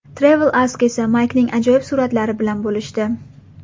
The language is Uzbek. TravelAsk esa Maykning ajoyib suratlari bilan bo‘lishdi.